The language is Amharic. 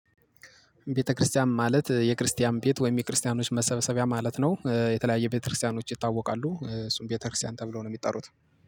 ቤተክርስቲያን ማለት የክርስቲያን ቤት ወይም የክርስቲያኖች መሰብሰቢያ ማለት ነው። የተለያየ ቤተክርስቲያኖች ይታወቃሉ እሱም ቤተክርስቲያን ተብለው ነው የሚጠሩት